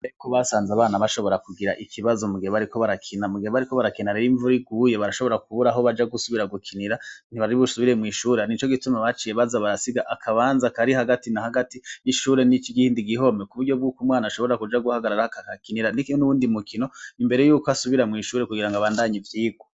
Bariko basanze abana bashobora kugira ikibazo mugebe, ariko barakina mugeba, ariko barakena reroimvuri guye barashobora kuburaho baja gusubira gukinira ntibarib usubire mw'ishura ni co gituma baciye baza barasiga akabanza kari hagati na hagati y'ishure n'iko gihindi gihome ku buryo bw'uko umwana ashobora kuja guhagarara h kakakinira ni ikine n'uwundi mukino imbere yuko asubira mw'ishure kugira ngo abandanye vyirwe.